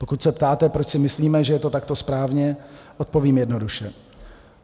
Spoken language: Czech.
Pokud se ptáte, proč si myslíme, že je to takto správně, odpovím jednoduše.